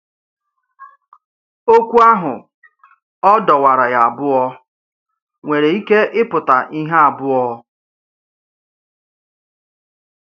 Ọ́kwù àhụ̀ “ọ̀ dọ̀wàrà ya ábụọ̀” nwèrè ike ịpụ̀tà íhè ábụọ̀